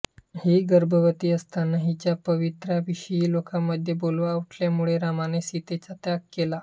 ही गर्भवती असताना हिच्या पावित्र्याविषयी लोकांमध्ये बोलवा उठल्यामुळे रामाने सीतेचा त्याग केला